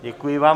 Děkuji vám.